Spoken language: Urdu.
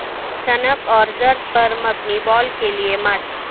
سنک اور زرد پر مبنی بال کے لئے ماسک